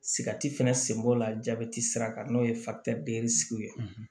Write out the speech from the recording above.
Sigati fɛnɛ senbo la jabɛti sira kan n'o ye ye